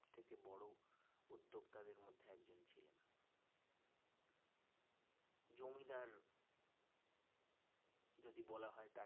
জমিদার যদি বলা হয়